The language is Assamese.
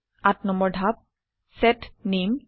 ৮ নম্বৰ ধাপ - চেট name